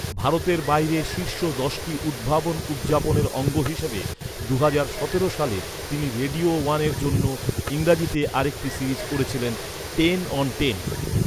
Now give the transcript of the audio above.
ভারতের বাইরে শীর্ষ দশটি উদ্ভাবন উদযাপনের অঙ্গ হিসাবে, দুহাজার সতেরো সালে তিনি রেডিও ওয়ানের জন্য ইংরেজিতে আরেকটি সিরিজ করেছিলেন, টেন অন টেন।